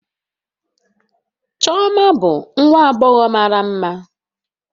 Chioma bụ nwa agbọghọ mara mma